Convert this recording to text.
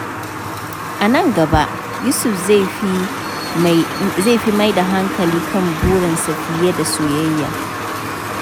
A nan gaba, Yusuf zai fi mai da hankali kan burinsa fiye da soyayya.